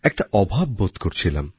একটা অভাব বোধ করছিলাম